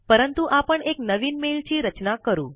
परंतु आपण एक नवीन मेल ची रचना करू